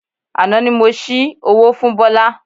Àná ni mo ṣi owó fún Bọ́lá